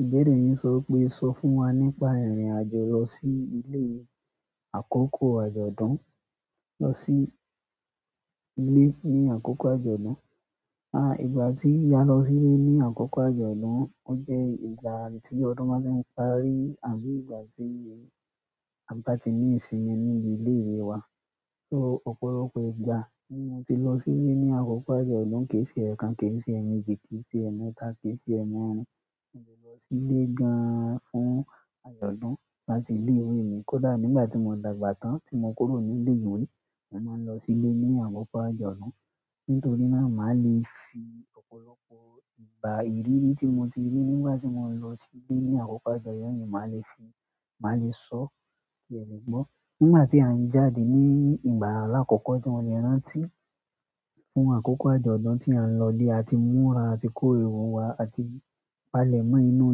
Ìbẹ̀rí yìí sọ wipé, sọ fún wa nípa ìrìn-àjò lọ sí ilé àkókò àjọ̀dún, lọ sí ilé ní àkókò àjọ̀dún. Ìgbà tí á lọ sílé ní àkókò àjọ̀dún o jẹ́ ìgbà tí ọdún báa tí n parí àbí ìgbà tí a ba ti ní ìsinmi ní ilé ìwé wa. So, ọ̀pọ̀lọpọ̀ ìgbà ni mo ti lọ silẹ ni àkókò ajọdun, ke e ṣe ekan, ke é ṣe emeeji, ki i se emeeta, ki í ṣe emeerin. Mo ti lọ sílé gan-an fún àjọ̀dún láti ilé ìwé mi. Kódà nígbà tí mò ń dàgbà tán tí mò ń kúrò ní ilé ìwé, mò máa ń lọ sílé ní àkókò àjọ̀dún. Nítorí náà, màá le fi ọ̀pọ̀lọpọ̀ ìgbà ìrírí tí mo ti rí nígbà tí mò ń lọ sílé ní àkókò àjọ̀dún yìí, màá le sọ kí ẹ lè gbọ́. Nígbà tí a ń jáde ní ìgbà aláàkọ́kọ́ tí wọ́n mò le rántí fún àkókò àjọ̀dún tí à ń lọ ilé, a ti múra, a ti kó ìwé wa àti palẹ̀ mọ́ inú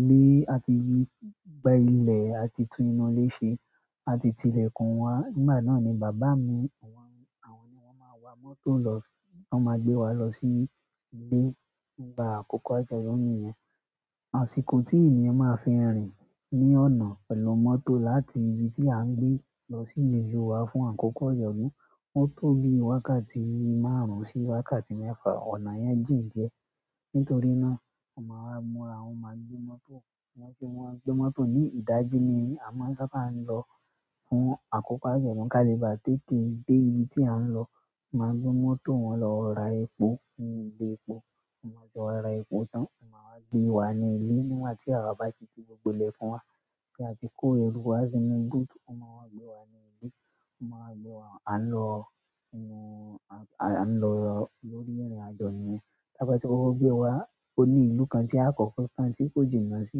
ilé, a ti gba ilẹ̀, a ti tú inú ilé ṣe àti tìlẹ̀kùn wa. Nígbà náà ni bàbá mi àwọn ni wọ́n máa wa mọ́tò lọ, wọ́n máa gbé wa lọ sí ilé nígbà àkókò àjọ̀dún niyẹn. Àṣìkò tí ènìyàn máa fi rìn ní ọ̀nà pẹ̀lú mọ́tò láti ibi tí à ń gbé lọ sí ìlú wa fún àkókò àjọ̀dún, ó tóbi wákàtí márùn-ún sí wákàtí mẹ́fà. Ọ̀nà yẹn jìn diẹ. Nítorí náà, a maa wá múra, wọn maa gbé mọ́tò, ni idaji ni a maa saa ba n lọ fún àkókò ajọdun, ki a lẹ ba tètè de ibi ti a n lọ. Maa gbé mọ́tò wọn lọ ra epo ni ilẹ epo ti n ba ti wa ra epo tán, wọ́n máa gbé wa ní ilé. Nígbà tí àwa bá ti ti gbogbo ilẹ̀kun wa bí a ti kó eru wá sí inú búùtù, wọ́n máa gbé wa ní ilé. Wọ́n máa gbé wa, à ń lọ lórí ìrìn-àjò niyẹn. Ta ba ti kọkọ gbéra, ó ní ìlú kan tí a kọ́kọ́ kán tí kò jìnà sí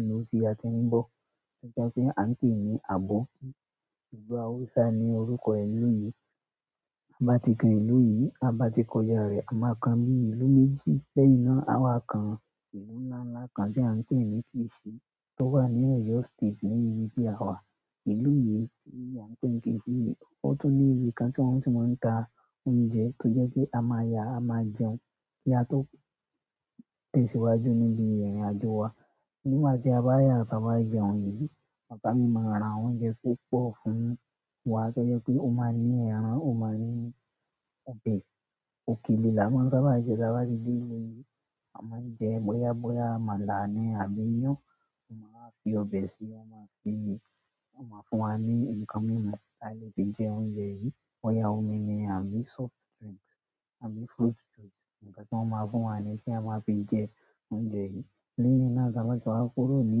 ìlú tí a ti ń bọ̀. Ọjà si a ń pè ní Àbóki. Ìlú haúsá ni orúkọ ìlú yìí. Ti i bá ti kan ìlú yìí, ta bá ti kọjá rẹ̀, à máa kan bíi ìlú méjì lẹ́yìn náà. Àwa kan ìlú ńlá ńlá kan tí à ń pè ní Kìíṣì tó wà ní ọ̀yọ́ State ní ibi tí àwa, ìlú yìí tí à ń pè Kìíṣì yìí. Ó tún ní ibi kan tí wọ́n ti máa ń ta oúnjẹ tó jẹ́ pé a máa yà, a máa jẹun. Ki a tó tẹ̀síwájú nibi irinajo wa. Nígbà tí a bá yà àti bá jẹun yìí, bàbá mi máa ra oúnjẹ púpọ̀ fún wa tó jẹ́ pé ó máa ní ẹran, ó máa ní ọbẹ̀, òkèlè lá maa sabá jẹ, ta bá ti dé ìlú yìí, a máa ń jẹ bóyá àmàlà ni àbí iyan. Wọ́n máa wa fi ọbẹ̀ sí i, wọ́n máa fi, wọ́n máa fún wa ní nǹkan mimu tí a lè fi jẹ oúnjẹ yìí. Boyà omi ni àbí soft drink, àbí fruit juice, ǹnkan tí wọ́n máa fún wa ní tí a máa fi jẹ oúnjẹ yìí. Lẹ́yìn náà, ta baa ti wá kúrò ní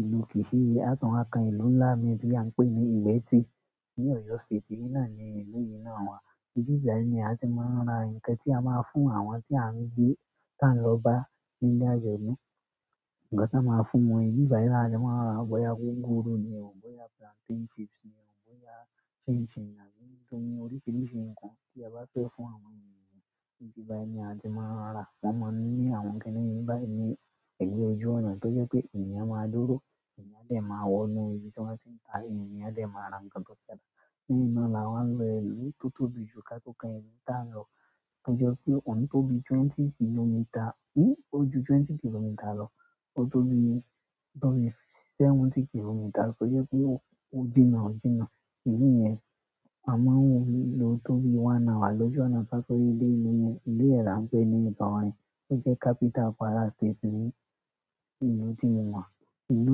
ìlú Kìíṣì yìí, àtun wa kán ìlú ńlá mii tí à ń pè ní Ìgbẹ́ti ní Ọ̀yọ́ State yìí náà ni ìlú yìí náà wà. Ìbí báyìí ni a ti máa ń ra ǹnkan tí a máa fún àwọn tí à ń gbé tá ń lọ bá níle àjọ̀dún. Ǹnkan tí a máa fún wọn, ìbí báyìí ni a ti máa ń ra. Bóyá gúgúrú ni ó, bóyá plantain chips ni ó, bóyá chin chin àbí oríṣìíríṣìí ǹnkan tí a bá fẹ́ fún àwọn ènìyàn, ìbí báyìí ni a ti máa ń ra. Wọ́n máa ń ní àwọn kini yìí báyìí ní ẹ̀gbẹ́ ojú ọ̀nà tó jẹ́ pé èèyàn máa dúró, èèyàn dẹ̀ máa wọ inú ibi tí wọ́n ti ń tà yìí, èèyàn dẹ̀ máa ra ǹnkan tó fẹ ra. Lẹ́yìn náà là wọ́n lọ ìlú tó tóbi jù ká to kan ìlú ta lọ. Ó jẹ́ pé ohun tó bi i twenty kilometre, ó ju twenty kilometre lọ. Ó tóbi seventy kilometre tó jẹ́ pé ó jìnnà jìnnà. Ìdí niyẹn, à máa ń lo tóbi one hour lójú ọ̀nà. Ka to rí ilé ìlú yẹn, ìlú yen ni a pè ní ọdọ wá, o jẹ́ capital Kwara state ni ìlú tí mo wà. Ìlú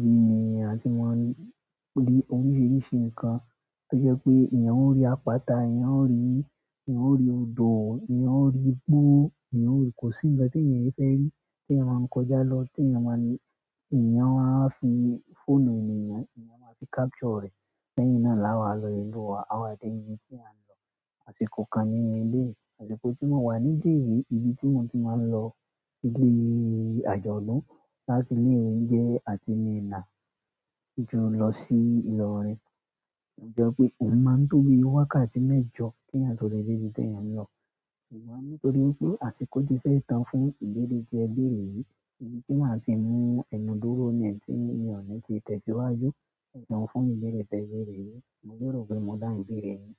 yìí ni a ti máa rí oríṣìíríṣìí ǹnkan tó jẹ́ pé èèyàn ó rí àpáta, èèyàn ó rí odò, èèyàn ó rí igbó, kò sí ǹkan tí èèyàn é fẹ́ rí tí èèyàn máa ń kọjá lọ tí èèyàn máa ń ní, èèyàn wa fi fóònù ènìyàn, èèyàn máa fi capture rẹ̀. Lẹ́yìn náà là wá lọ ìlú wa. Àwa dẹ̀ ibi tí à ń lọ. Àṣìkò kan ní eleyii, àṣìkò tí mò ń wà níbí yìí, ibi tí mò ń ti máa ń lọ ibi àjọ̀dún láti ilé ìwé jẹ́ àti minna lọ sí ìlorin. Ó jẹ́ pé ohun máa ń tóbi wákàtí mẹ́jọ ki èèyàn to le dé ibi tí èèyàn ń lọ. Ṣùgbọ́n nítorí wipé àṣìkò ti fẹ́ ì tàn fún ìbẹ̀rẹ̀ ti ẹ béèrè yìí. Ibi tí màá ti mú ẹ̀nú dúró ni tí mi o ní fi tẹ̀síwájú, ẹsun fún ìbẹ̀rẹ̀ tẹ bẹ̀rẹ̀ yìí. Mo lèrò pé mò dáhùn ìbẹ̀rẹ̀ yìí.